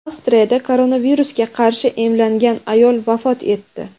Avstriyada koronavirusga qarshi emlangan ayol vafot etdi.